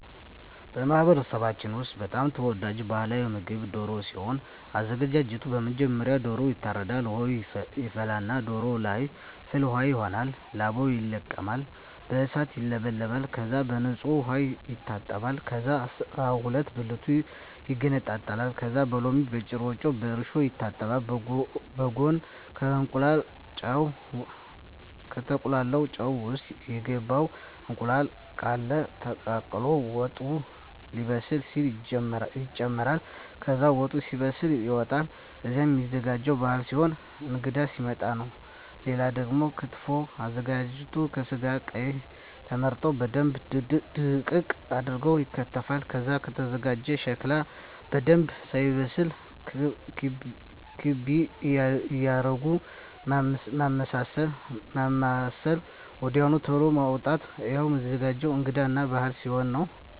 በማህበረሰባችን ውስጥ በጣም ተወዳጅ ባህላዊ ምግብ ደሮ ሲሆን አዘጋጁ መጀመሪያ ዶሮዎ ይታረዳል ውሃ ይፈላና ዶሮዎ ለይ ፍል ውሃው ይሆናል ላባው ይለቀማል በእሳት ይውለበለባል ከዛ በንጹህ ዉሃ ይታጠባል ከዛ አስራሁለት ብልቱ ይገነጣጠላል ከዛ በሎሚ በጭረጮ በእርሾ ይታጠባል በጉን ከተቁላላው ጨው ውሰጥ ይገባል እንቁላል ቃለ ተቀቅሎ ወጡ ሌበስል ሲል ይጨምራል ከዛ ወጡ ሲበስል ይወጣል እሄም ሚዘጋጀው ባህል ሲሆን እንግዳ ሲመጣ ነው ሌላው ደግሞ ክትፎ ነው አዘገጃጀቱ ከስጋው ቀይ ቀዩ ተመርጠው በደንብ ድቅቅ አርገው ይከተፋል ከዛ ከተዘጋጀው ሸክላ በደንብ ሳይበስል ክቤ እያረጉ ማማሰል ወድያው ተሎ ማዉጣት እሄም ሚዘገጀው እንግዳ እና በአል ሲሆን ነው